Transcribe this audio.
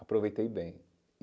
aproveitei bem.